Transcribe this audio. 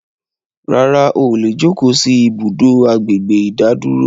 Rárá, óò lè jókò sì ibùdó àgbègbè ìdádúró